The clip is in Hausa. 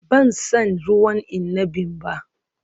Ban san ruwan inabin ba